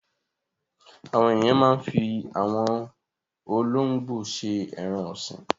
Àwọn ènìyàn máa ń fi àwọn olóńgbò ṣe ẹran-ọ̀sìn.